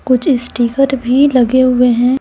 कुछ स्टीकर भी लगे हुए हैं।